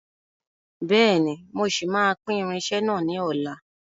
Bẹ́ẹ̀ni, mo ṣì máa pín irinsẹ́ náà ni ọ̀la.